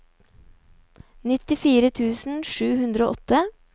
nittifire tusen sju hundre og åtte